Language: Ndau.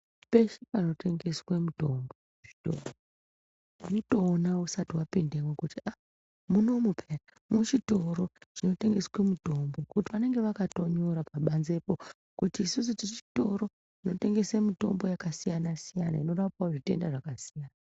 Peshe panotengeswe mitombo muzvitoro unotoona usati wapindemwo kuti ah munomu peya muchitoro chinotengese mutombo ngeti vanenge vakatonyora pabanzepo kuti isusu tiri chitoro chinotengese mitombo yakasiyana siyana inorapawo zvitenda zvakasiyana siyana.